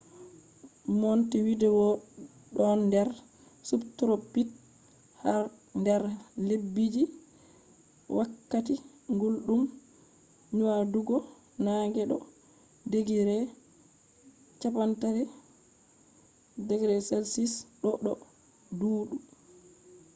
montevideo don der subtropics; har der lebbiji je wakkati guldum nyadugo nange do digiri 30°c doo do duudi